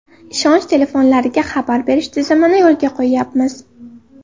Ishonch telefonlariga xabar berish tizimini yo‘lga qo‘yyapmiz.